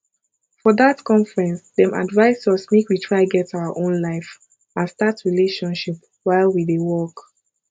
for dat conference dem advise us make we try get our own life and start relationship while we dey work